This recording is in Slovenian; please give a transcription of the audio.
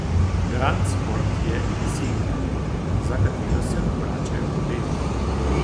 Grand sport je insignia, za katero se obračajo pogledi.